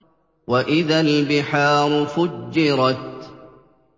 وَإِذَا الْبِحَارُ فُجِّرَتْ